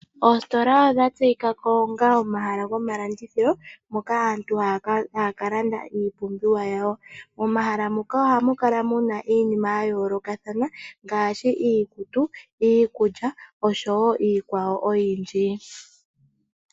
Oositola odha tseyika ko onga omahala gomalandithilo moka aantu haya kalanda iipumbiwa yawo. Momahala muka ohamu kala muna iinima ya yoolokathana ngaashi iikutu, iikulya niikwawo oyindji.